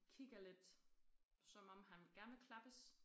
Kigger lidt som om han gerne vil klappes